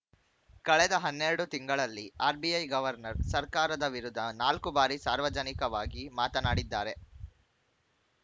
ಕಳೆದ ಹನ್ನೆರಡು ತಿಂಗಳಲ್ಲಿ ಆರ್‌ಬಿಐ ಗವರ್ನರ್‌ ಸರ್ಕಾರದ ವಿರುದ್ಧ ನಾಲ್ಕು ಬಾರಿ ಸಾರ್ವಜನಿಕವಾಗಿ ಮಾತನಾಡಿದ್ದಾರೆ